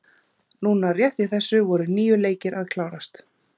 Núna rétt í þessu voru níu leikir að klárast.